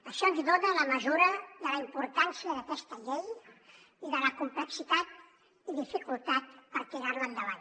això ens dona la mesura de la importància d’aquesta llei i de la complexitat i dificultat per tirar la endavant